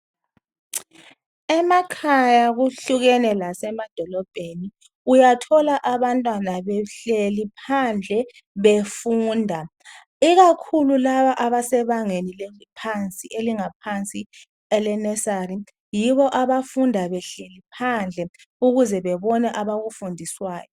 emakhaya kuhlukene lasemadolobheni uyathola abantwana behlile phandle befunda ikakhulu laba abesebangeni elingaphansi elema nesali yibo abafunda behleli phandle ukuze babone abakufundiswayo